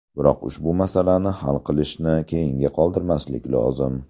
Biroq ushbu masalani hal qilishni keyinga qoldirmaslik lozim.